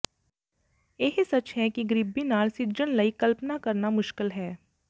ਇਹ ਸੱਚ ਹੈ ਕਿ ਗਰੀਬੀ ਨਾਲ ਸਿੱਝਣ ਲਈ ਕਲਪਨਾ ਕਰਨਾ ਮੁਸ਼ਕਿਲ ਹੈ